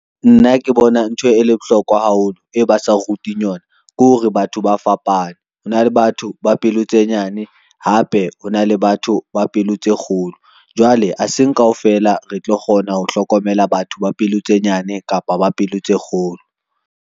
Nna ke bona ntho e le bohlokwa haholo e ba sa re ruting yona ke hore batho ba fapane, ho na le batho ba pelo tse nyane hape ho na le batho ba pelo tse kgolo. Jwale ha seng kaofela re tlo kgona ho hlokomela batho ba pelo tse nyane kapa ba pelo tse kgolo.